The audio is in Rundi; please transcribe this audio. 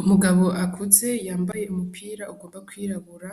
Umugabo akuze yambaye umupira ugomba kwirabura,